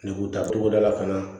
Negu taa togo da la fana